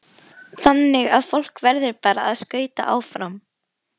Þannig að fólk verður bara að skauta áfram?